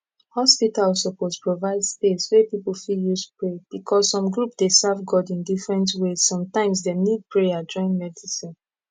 hospital suppose provide space wey people fit use pray because some group dey serve god in different ways sometimes dem need prayer join medicine